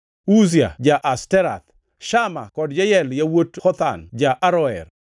Uzia ja-Ashterath, Shama kod Jeyel yawuot Hotham ja-Aroer,